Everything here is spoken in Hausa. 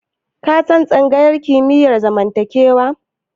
Ka san tsangayar kimiyyar zamantakewa?